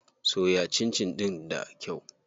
Soya cincin ɗin da kyau.